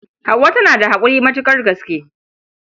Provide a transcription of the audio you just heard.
Hauwa tana da haƙuri matuƙar gaske.